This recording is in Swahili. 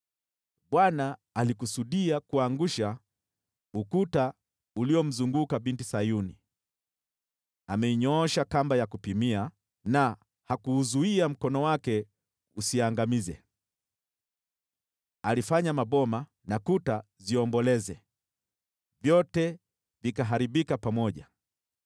Bwana alikusudia kuangusha ukuta uliomzunguka Binti Sayuni. Ameinyoosha kamba ya kupimia na hakuuzuia mkono wake usiangamize. Alifanya maboma na kuta ziomboleze, vyote vikaharibika pamoja.